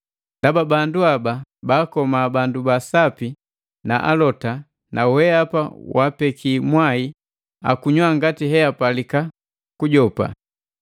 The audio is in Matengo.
Ndaba bandu haba baakoma bandu ba sapi na alota, na wehapa wapekii mwai akunywa ngati hebapalika kujopa!”